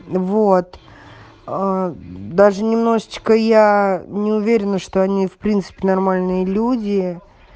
вот ээ даже немножечко я не уверена что они в принципе нормальные люди